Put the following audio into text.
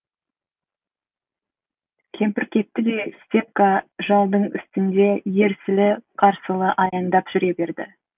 кемпір кетті де степка жалдың үстінде ерсілі қарсылы аяңдап жүре берді